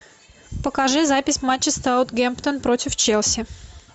покажи запись матча саутгемптон против челси